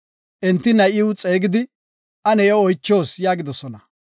Enti, “Na7iw xeegidi ane iyo oychoos” yaagidosona.